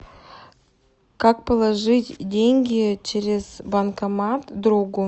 как положить деньги через банкомат другу